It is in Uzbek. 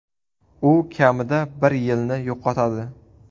U kamida bir yilni yo‘qotadi.